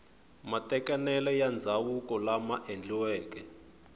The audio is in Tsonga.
matekanelo ya ndzhavuko lama endliweke